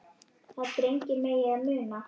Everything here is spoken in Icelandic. að drengir megi það muna